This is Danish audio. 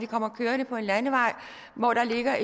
kommet kørende på en landevej hvor der har